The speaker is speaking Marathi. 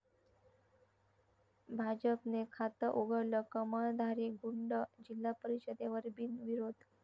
भाजपने खातं उघडलं, 'कमळ'धारी गुंड जिल्हा परिषदेवर बिनविरोध